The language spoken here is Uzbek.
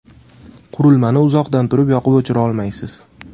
Qurilmani uzoqdan turib yoqib-o‘chira olmaysiz.